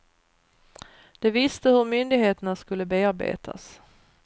De visste hur myndigheterna skulle bearbetas.